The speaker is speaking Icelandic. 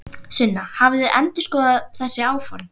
Sunna: Hafið þið eitthvað endurskoðað þessi áform?